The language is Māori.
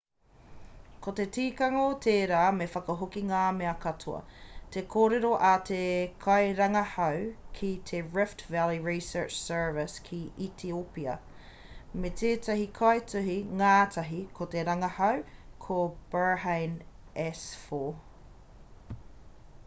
ko te tikanga o tērā me whakahoki ngā mea katoa te kōrero a te kairangahau ki te rift valley research service ki etiopia me tētahi kaituhi-ngātahi o te rangahau a berhane asfaw